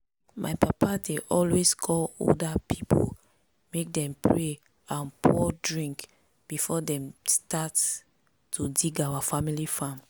my papa dey always call older people make dem pray and pour drink before dem start to dig our family farm.